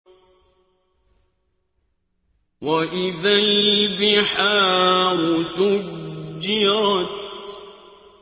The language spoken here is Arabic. وَإِذَا الْبِحَارُ سُجِّرَتْ